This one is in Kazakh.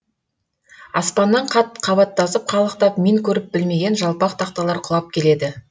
аспаннан қат қабаттасып қалықтап мен көріп білмеген жалпақ тақталар құлап келеді